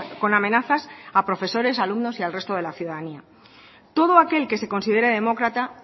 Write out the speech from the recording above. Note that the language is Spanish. con amenazas a profesores a alumnos y al resto de la ciudadanía todo aquel que se considera demócrata